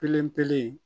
Kelen pele